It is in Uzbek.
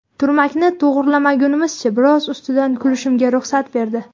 Turmagini to‘g‘rilagunimizcha biroz ustidan kulishimga ruxsat berdi”.